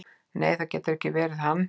"""Nei, það getur ekki verið hann."""